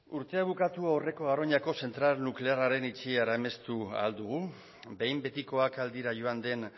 urte bukatu aurreko garoñako zentral nuklearraren itxiera amestu ahal dugu behin betikoak ahal dira joan den